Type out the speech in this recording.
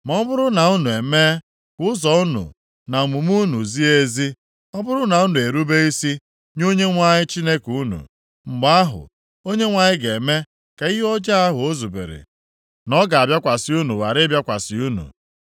Ma ọ bụrụ na unu emee ka ụzọ unu na omume unu zie ezi, ọ bụrụ na unu erube isi nye Onyenwe anyị Chineke unu, mgbe ahụ, Onyenwe anyị ga-eme ka ihe ọjọọ ahụ o zubere na ọ ga-abịakwasị unu ghara ịbịakwasị unu.